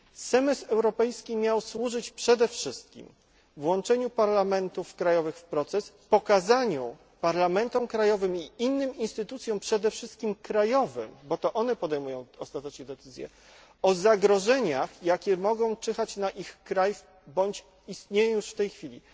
Semestr europejski miał służyć przede wszystkim włączeniu parlamentów krajowych w proces, pokazaniu parlamentom krajowym i innym instytucjom, przede wszystkim krajowym, bo to one podejmują ostatecznie decyzje, o zagrożeniach, jakie mogą czyhać na ich kraj bądź istnieją już w tej chwili.